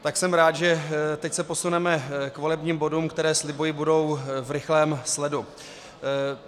Tak jsem rád, že teď se posuneme k volebním bodům, které, slibuji, budou v rychlém sledu.